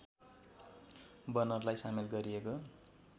बनरलाई सामेल गरिएको